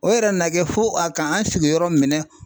O yɛrɛ nana kɛ fo a ka an sigi yɔrɔ minɛn.